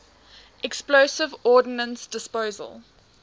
explosive ordnance disposal